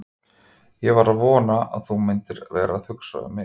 Ég var að vona að þú værir að hugsa um mig!